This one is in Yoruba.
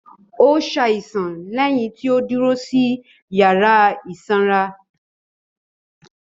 Ó ṣàìsàn lẹ́yìn tí ó dúró sí yàrá ìsanra.